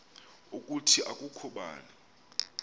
ukuthi akukho bani